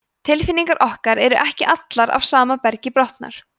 tilfinningar okkar eru ekki allar af sama bergi brotnar